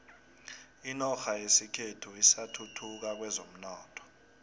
inorha yekhethu isathuthuka kwezomnotho